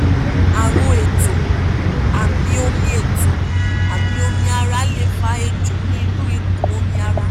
àrùn ètò amí omi ètò amí omi ara lè fa èjò ní inú ikùn omi ara